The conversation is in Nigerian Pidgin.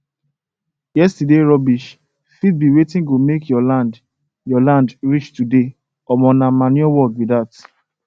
yesterday rubbish fit be wetin go make your land your land rich today omo nah manure work be that